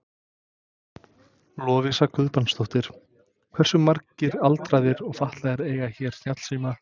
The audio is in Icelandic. Lovísa Guðbrandsdóttir: Hversu margir aldraðir og fatlaðir eiga hérna snjallsíma?